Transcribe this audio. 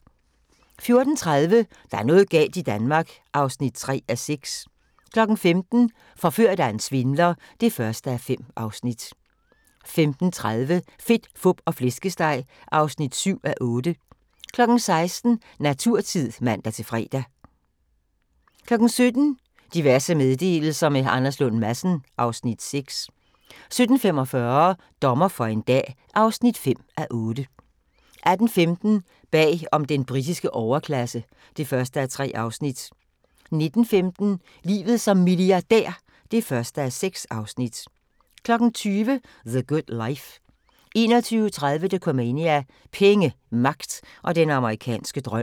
14:30: Der er noget galt i Danmark (3:6) 15:00: Forført af en svindler (1:5) 15:30: Fedt, fup og flæskesteg (7:8) 16:00: Naturtid (man-fre) 17:00: Diverse meddelelser – med Anders Lund Madsen (Afs. 6) 17:45: Dommer for en dag (5:8) 18:15: Bag om den britiske overklasse (1:3) 19:15: Livet som milliardær (1:6) 20:00: The Good Life 21:30: Dokumania: Penge, magt og den amerikanske drøm